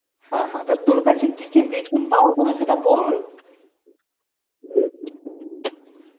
হ্যাঁ হ্যাঁ তো তোর কাছে কী কী বিচুন পাওয়া যাবে সেটা বল.